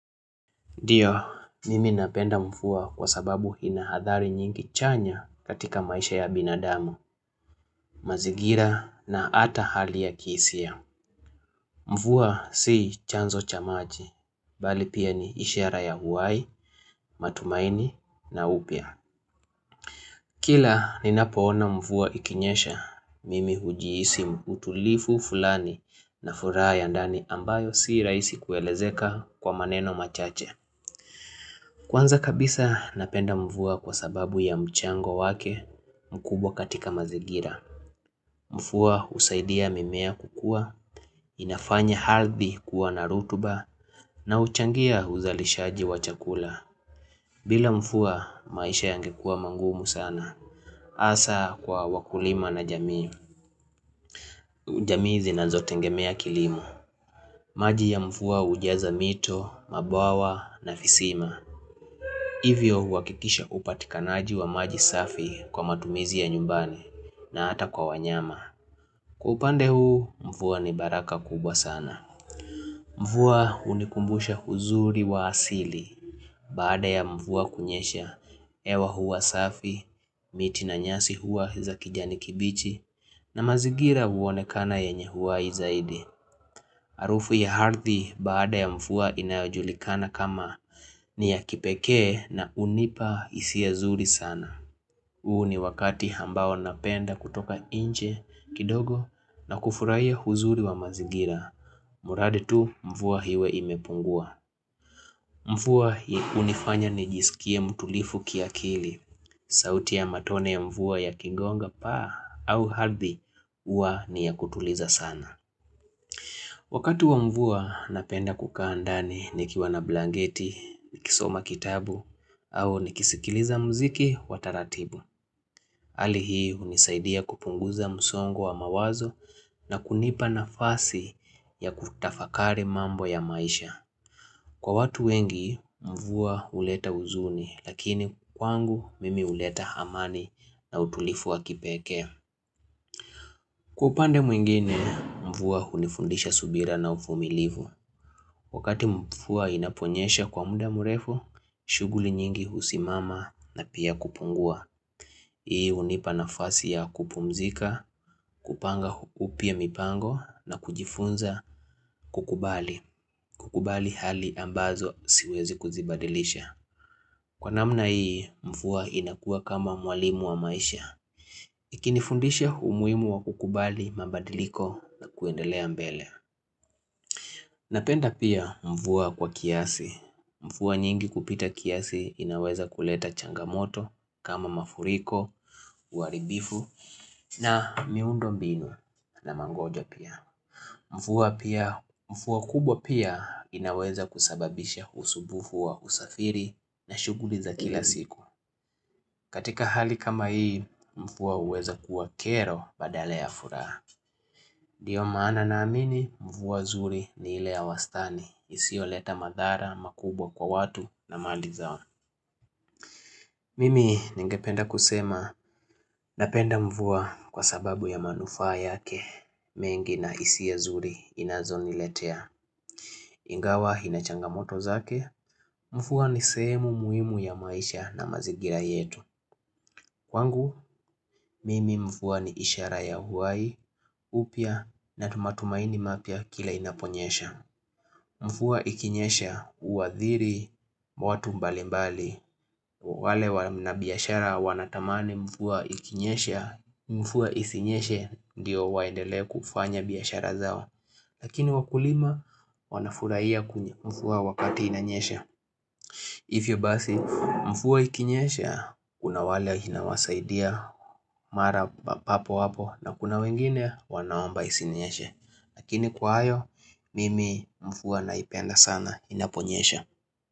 Ndiyo, mimi napenda mvua kwa sababu ina hadhari nyingi chanya katika maisha ya binadamu, mazingira na hata hali ya kihisia. Mvua si chanzo cha maji, bali pia ni ishara ya uhai, matumaini na upya. Kila ninapoona mvua ikinyesha, mimi hujihisi utulivu fulani na furaha ya ndani ambayo si rahisi kuelezeka kwa maneno machache. Kwanza kabisa napenda mvua kwa sababu ya mchango wake mkubwa katika mazingira. Mvua husaidia mimea kukua, inafanya ardhi kuwa na rutuba na huchangia uzalishaji wa chakula. Bila mvua maisha yangekuwa mangumu sana. Hasa kwa wakulima na jamii. Jamii zinazotegemea kilimo maji ya mvua hujaza mito, mabwawa na visima. Hivyo hukikisha upatikanaji wa maji safi kwa matumizi ya nyumbani na hata kwa wanyama. Kwa upande huu mvua ni baraka kubwa sana. Mfuwa unikumbusha huzuri wa asili. Baada ya mvua kunyesha, hewa huwa safi, miti na nyasi huwa za kijani kibichi na mazingira huonekana yenye uhai zaidi. Harufu ya ardhi baada ya mvua inajulikana kama ni ya kipekee na hunipa hisia zuri sana. Huu ni wakati ambao napenda kutoka nje kidogo na kufurahia uzuri wa mazingira. Mradi tu mvua iwe imepungua. Mvua hunifanya nijisikie mtulivu kiakili. Sauti ya matone ya mvua yakingonga paa au ardhi huwa ni ya kutuliza sana. Wakati wa mvua napenda kukaa ndani nikiwa na blanketi, ni kisoma kitabu au ni kisikiliza mziki wa taratibu. Hali hii hunisaidia kupunguza msongo wa mawazo na kunipa nafasi ya kutafakari mambo ya maisha. Kwa watu wengi mvua huleta huzuni lakini kwangu mimi huleta amani na utulivu wa kipekee. Kwa upande mwingine, mvua hunifundisha subira na uvumilivu. Wakati mvua inaponyesha kwa muda mrefu, shughuli nyingi husimama na pia kupungua. Hii hunipa nafasi ya kupumzika, kupanga upya mipango na kujifunza kukubali. Kukubali hali ambazo siwezi kuzibadilisha. Kwa namna hii, mvua inakuwa kama mwalimu wa maisha. Ikinifundisha umuhimu wa kukubali mabadiliko na kuendelea mbele. Napenda pia mvua kwa kiasi. Mvua nyingi kupita kiasi inaweza kuleta changamoto kama mafuriko, uaribifu na miundo mbinu na mangoja pia. Mvua kubwa pia inaweza kusababisha usumbufu wa usafiri na shughuli za kila siku. Katika hali kama hii, mvua huweza kuwa kero badala ya furaha. Ndio maana naamini, mvua zuri ni ile ya wastani, isiyoeta madhara makubwa kwa watu na mali zao. Mimi ningependa kusema, napenda mvua kwa sababu ya manufaa yake, mengi na hisia zuri inazoniletea. Ingawa inachangamoto zake, mvua ni semu muhimu ya maisha na mazingira yetu. Kwangu, mimi mvua ni ishara ya uhai, upya na tu matumaini mapya kila inaponyesha. Mvua ikinyesha huathiri watu mbali mbali wale wana biashara wanatamani mvua ikinyeshe Mvua isinyeshe ndiyo waendele kufanya biashara zao Lakini wakulima wanafurahia kunye mvuaa wakati inanyesha hivyo basi mvua ikinyesha kuna wale inawasaidia Mara papo hapo na kuna wengine wanaomba isinyeshe lakini kwa hayo, mimi mvua naipenda sana inaponyesha.